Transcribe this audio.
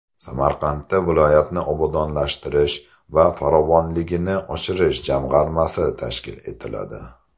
Samarqandda viloyatni obodonlashtirish va farovonligini oshirish jamg‘armasi tashkil etiladi.